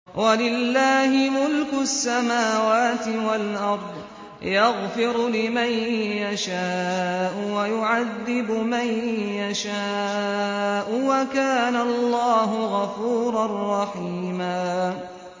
وَلِلَّهِ مُلْكُ السَّمَاوَاتِ وَالْأَرْضِ ۚ يَغْفِرُ لِمَن يَشَاءُ وَيُعَذِّبُ مَن يَشَاءُ ۚ وَكَانَ اللَّهُ غَفُورًا رَّحِيمًا